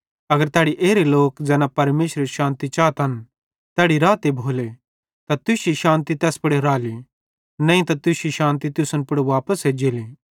अगर तैड़ी एरे लोक ज़ैना परमेशरेरी शान्ति चातन तैड़ी रहते भोलो त तुश्शी शान्ति तैस पुड़ राली नईं त तुश्शी शान्ति तुसन पुड़ एज्जेली